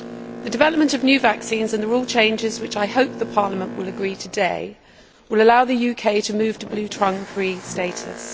The development of new vaccines and the rules changes which I hope the Parliament will agree today will allow the UK to move to bluetongue free status.